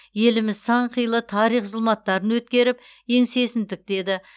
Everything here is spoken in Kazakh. еліміз сан қилы тарих зұлматтарын өткеріп еңсесін тіктеді